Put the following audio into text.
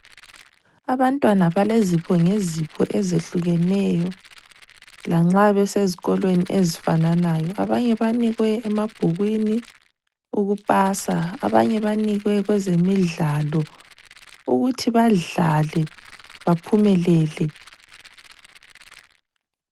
Abantwana balezipho ngezipho ezehlukeneyo lanxa besezikolweni ezifananayo. Abanye banikwe emabhukwini ukupasa. Abanye banikwe kwezemidlalo ukuthi badlale baphumelele.